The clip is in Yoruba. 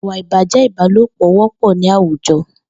Ìwà ibájẹ̀ ibàlópọ wọpọ ni àwújọ